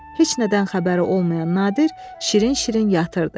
Heç nədən xəbəri olmayan Nadir şirin-şirin yatırdı.